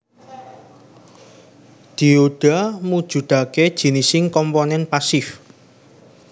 Dioda mujudake jinis komponen pasif